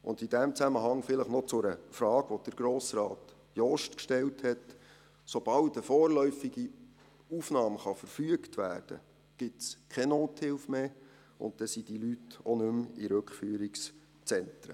In diesem Zusammenhang vielleicht noch etwas zu einer Frage, die Grossrat Jost gestellt hat: Sobald eine vorläufige Aufnahme verfügt werden kann, gibt es keine Nothilfe mehr, und dann sind die Leute auch nicht mehr in Rückführungszentren.